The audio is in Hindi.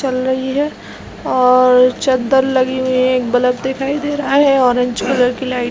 चल रही है और चद्दर लगी हुई है और एक बल्ब दिखाई दे रहा है ऑरेंज की कलर की लाइटिंग दिखाई दे रही है।